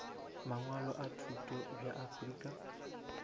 mangwalo a thuto bja afrika